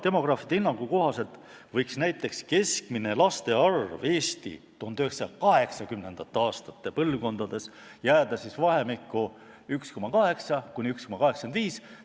Demograafide hinnangu kohaselt võib keskmine laste arv naise kohta Eesti 1980. aastate põlvkonnas jääda vahemikku 1,8–1,85.